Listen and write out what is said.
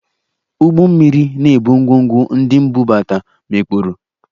Ụgbọ mmiri na-ebu ngwongwo ndị m bubata, mikpuru